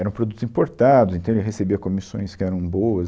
Eram produtos importados, então ele recebia comissões que eram boas.